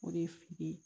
O de ye fili ye